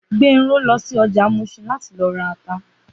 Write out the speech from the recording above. Gbenro lọ sí ọjà Muṣin láti lọ ra ata